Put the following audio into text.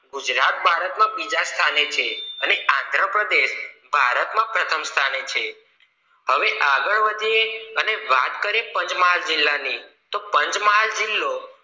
ગુજરાત ભારત માં બીજા સ્થાને છે અને આંધ્ર પ્રદેશ ભારતમાં પ્રથમ સ્થાને છે હવે આગળ વધીએ અને વાત કરીએ પંચમહાલ જિલ્લા ની તો પંચમહાલ જિલ્લો